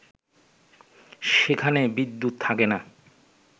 সেখানে বিদ্যুত থাকেনা